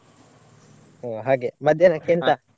ಒಹ್ ಹಾಗೆ ಮಧ್ಯಾಹ್ನಕ್ಕೆ ಎಂತ?